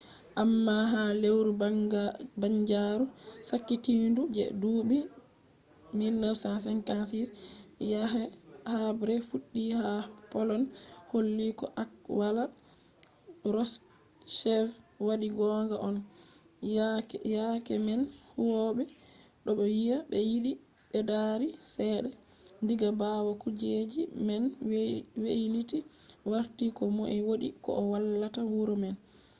amma ha lewru banjaru sakitindu je duuɓi 1956 yake habre fuɗɗi ha poland holli ko alkawal kroshchev waɗi gonga on. yake man huwoɓe ɗo wiya ɓe yiɗi ɓeddari cede. diga ɓawo kuje man weiliti warti ko moi wodi ko o wallata wuro man